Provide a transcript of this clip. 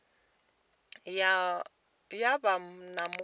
ya vha na mukovhe wa